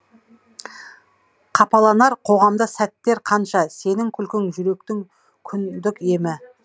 қапаланар қоғамда сәттер қанша сенің күлкің жүректің күндік емі